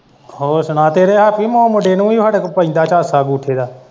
ਹੋਰ ਸੁਣਾ ਤੇਰੇ ਹੈਪੀ ਮੁੰਡੇ ਨੂੰ ਵੀ ਹਾਡੇ ਕੋਲੋਂ ਪੈਂਦਾ ਝਾਸਾ ਬੂਥੇ ਦਾ।